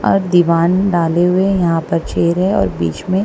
और दीवान डाले हुए यहां पर चेर है और बीच में--